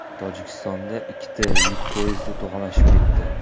Tojikistonda ikkita yuk poyezdi to‘qnashib ketdi.